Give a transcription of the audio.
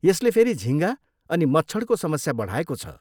यसले फेरि झिङ्गा अनि मच्छडको समस्या बढाएको छ।